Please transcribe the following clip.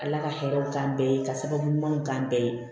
Ala ka hɛrɛw k'an bɛɛ ye ka sababu ɲumanw k'an bɛɛ ye